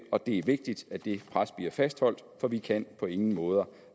og det er vigtigt at det pres bliver fastholdt for vi kan på ingen måde